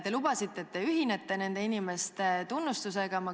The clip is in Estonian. Te lubasite, et te ühinete nende inimeste tunnustusega.